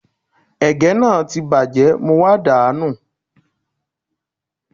Ègé náà ti bàjẹ́, mo wá dà á nù